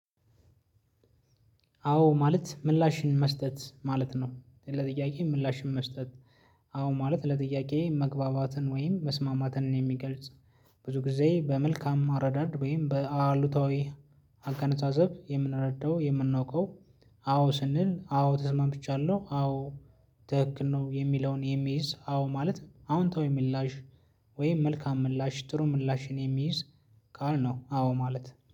አዎ ማለት ምላሽን መስጠት ማለት ነው። ለጥያቄ ምላሽን መስጠት አዎ ማለት ለጥያቄ መግባባትን ወይም መስማማትን የሚገልጽ ብዙ ጊዜ በመልካም አረዳድ ወይም በአሉታዊ አገነዛዘብ የምንረዳው የምናዉቀው- አዎ ስንል አዎ ተስማምቻለሁ። አዎ ትክክል ነው። የሚለውን የሚይዝ አዎ ማለት አዎንታዊ ምላሽ ወይም መልካም ምላሽ ጥሩ ምላሽን የሚይዝ ቃል ነው አዎ ማለት።